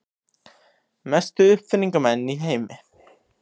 Mestu uppfinningamenn í heimi.